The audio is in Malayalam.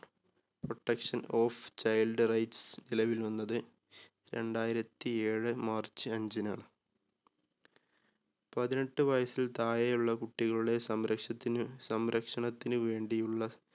protection of child rights നിലവിൽ വന്നത് രണ്ടായിരത്തി ഏഴ് march അഞ്ചിനാണ്. പതിനെട്ട് വയസ്സിൽ താഴെയുള്ള കുട്ടികളുടെ സംരക്ഷണത്തിന് സംരക്ഷണത്തിന് വേണ്ടിയുള്ള